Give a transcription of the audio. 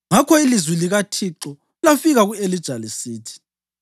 Ngakho ilizwi likaThixo lafika ku-Elija lisithi: